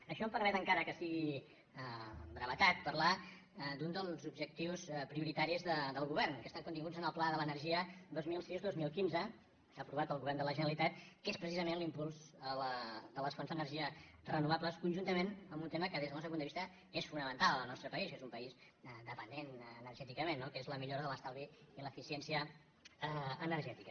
això em permet encara que sigui amb brevetat parlar d’un dels objectius prioritaris del govern que estan continguts en el pla de l’energia dos mil sis·deu deu cinc aprovat pel govern de la generalitat que és precisament l’impuls de les fonts d’energia renovables conjuntament amb un tema que des del nostre punt de vista és fonamental al nostre país que és un país dependent energèticament no que és la millora de l’estalvi i l’eficiència ener·gètica